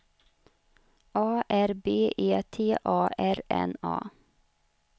A R B E T A R N A